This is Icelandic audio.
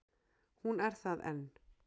Hún er það enn.